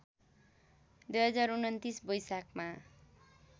२०२९ वैशाखमा